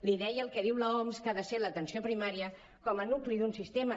li deia el que diu l’oms que ha de ser l’atenció primària com a nucli d’un sistema